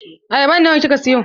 Ayaban nawa kika siyo?